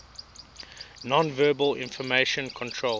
nonverbal information controlled